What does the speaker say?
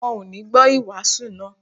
Wọ́n ò ní gbọ́ ìwàásù náà